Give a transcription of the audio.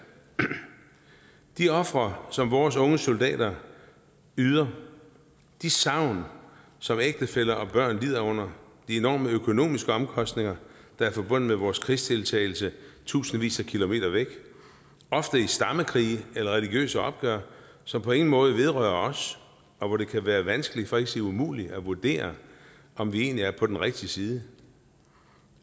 de ofre som vores unge soldater yder de savn som ægtefæller og børn lider under de enorme økonomiske omkostninger der er forbundet med vores krigsdeltagelse tusindvis af kilometer væk ofte i stammekrige eller religiøse opgør som på ingen måde vedrører os og hvor det kan være vanskeligt for ikke at sige umuligt at vurdere om vi egentlig er på den rigtige side